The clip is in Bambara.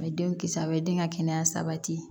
A bɛ denw kisi a bɛ den ka kɛnɛya sabati